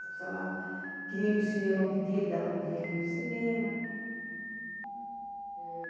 Se precisava... Queria ir no cinema, eu pedia, ele dava um dinheirinho para o cinema.